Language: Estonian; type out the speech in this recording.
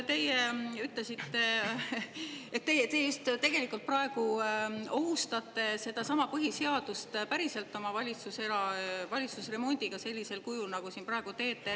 Te tegelikult just praegu päriselt ohustate sedasama põhiseadust oma valitsusremondiga sellisel kujul, nagu te siin praegu teete.